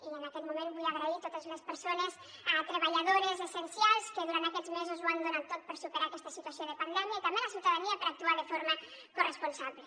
i en aquest moment vull agrair a totes les persones treballadores essencials que durant aquests mesos ho han donat tot per superar aquesta situació de pandèmia i també a la ciutadania per actuar de forma corresponsable